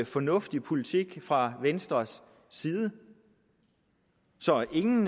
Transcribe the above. fornuftig politik fra venstres side så ingen